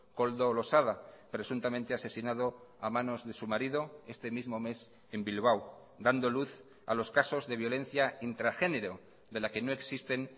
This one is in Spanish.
koldo losada presuntamente asesinado a manos de su marido este mismo mes en bilbao dando luz a los casos de violencia intragénero de la que no existen